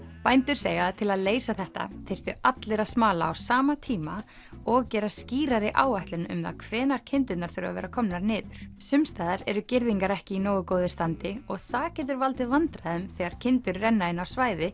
bændur segja að til að leysa þetta þyrftu allir að smala á sama tíma og gera skýrari áætlun um það hvenær kindurnar þurfa að vera komnar niður sums staðar eru girðingar ekki í nógu góðu standi og það getur valdið vandræðum þegar kindur renna inn á svæði